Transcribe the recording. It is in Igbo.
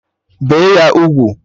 Bee ya ugwu!